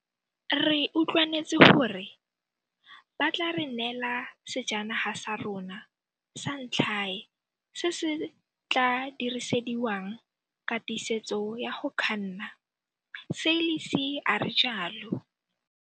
Re utlwanetse gore ba tla re neela sejanaga sa rona sa ntlhae se se tla dirisediwang katisetso ya go kganna, Seirlis a re jalo.